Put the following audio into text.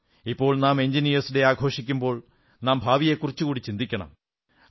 ഇപ്പോൾ നാം എഞ്ചിനീയേർസ് ദിനം ആഘോഷിക്കുമ്പോൾ നാം ഭാവിയെക്കുറിച്ചുകൂടി ചിന്തിക്കണം